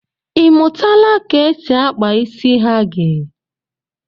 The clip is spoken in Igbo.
Ịmụtala ka e si akpa isi hagi?